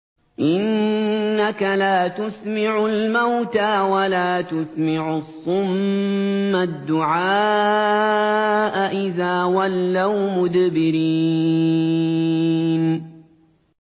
إِنَّكَ لَا تُسْمِعُ الْمَوْتَىٰ وَلَا تُسْمِعُ الصُّمَّ الدُّعَاءَ إِذَا وَلَّوْا مُدْبِرِينَ